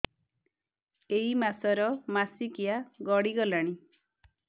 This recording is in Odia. ଏଇ ମାସ ର ମାସିକିଆ ଗଡି ଗଲାଣି